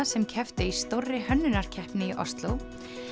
sem kepptu í stórri hönnunarkeppni í Osló